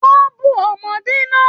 Wọn bù ọmọdé náà.